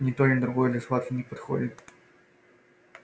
ни то ни другое для схватки не подходит